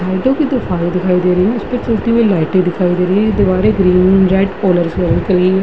दिखाई दे रही है उसपे चलते हुए लाइटे दिखाई दे रही हैं। दीवारे